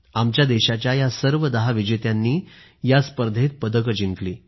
आमच्या देशाच्या या सर्व दहा विजेत्यांनी या स्पर्धेत पदक जिंकली